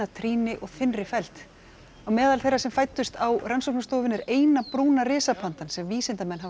trýni og þynnri felld á meðal þeirra sem fæddust á rannsóknarstofunni er eina brúna risapandan sem vísindamenn hafa